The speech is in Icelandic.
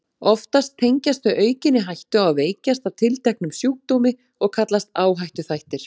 Oftast tengjast þau aukinni hættu á að veikjast af tilteknum sjúkdómi og kallast áhættuþættir.